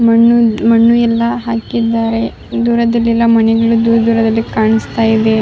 ಮಣ್ಣು ಎಲ್ಲ ಹಾಕಿದ್ದಾರೆ ದೂರದಲ್ಲಿ ಎಲ್ಲ ಮಣ್ಣು ದೂರ ದೂರದ್ಲಲಿ ಕಾಣಿಸ್ತಾ ಇದೆ --